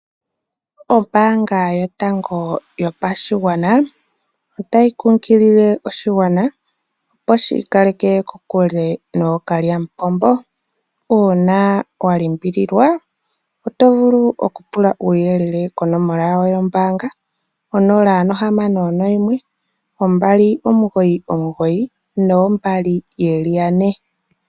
Ombaanga yotango yopashigwana otayi kunkilile oshigwana opo shiikaleke kokule nookalyampombo una walimbililwa otovulu okupula uuyelele konomoola yawo yombaanga 0612992222.